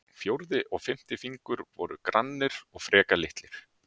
Fjórði og fimmti fingur voru grannir og frekar litlir.